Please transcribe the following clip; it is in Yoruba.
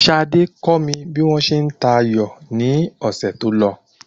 Sade kọ́ mi bí wọ́n ṣe n ta ayò ni ọ̀sẹ̀ tó lọ